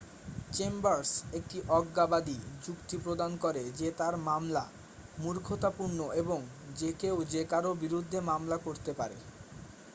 """Chambers একটি অজ্ঞাবাদী যুক্তি প্রদান করে যে তার মামলা """মূর্খতাপূর্ণ""" এবং """যে কেউ যে কারো বিরুদ্ধে মামলা করতে পারে।""" "